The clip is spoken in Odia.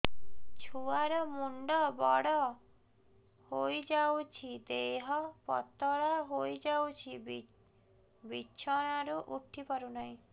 ଛୁଆ ର ମୁଣ୍ଡ ବଡ ହୋଇଯାଉଛି ଦେହ ପତଳା ହୋଇଯାଉଛି ବିଛଣାରୁ ଉଠି ପାରୁନାହିଁ